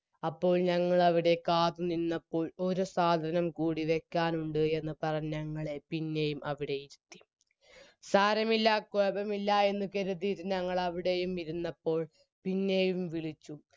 അപ്പോൾ ഞങ്ങളവിടെ കാത്തു നിന്നപ്പോൾ ഒരു സാധനം കൂടി വെക്കാനുണ്ട് എന്ന്പറഞ്ഞ് ഞങ്ങളെ പിന്നെയും അവിടെയിരിത്തി സാരമില്ല കോപമില്ല എന്ന് കര്തിറ്റ് ഞങ്ങളവിടെയും ഇരുന്നപ്പോൾ പിന്നെയും വിളിച്ചു